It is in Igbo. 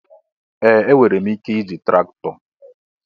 Ee! Enwere m ike iji traktọ.